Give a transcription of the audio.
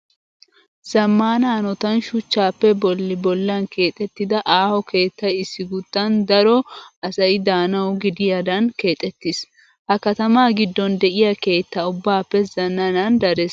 Zammaana hanotan shuchchaappe bolli bollan keexettida aaho keettayi issi guttan daro asayi daanawu gidiyaadan keexettis. Ha katamaa giddon de'iyaa keetta ubbaappe zananan dares.